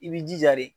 I b'i jija de